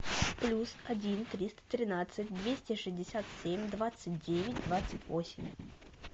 плюс один триста тринадцать двести шестьдесят семь двадцать девять двадцать восемь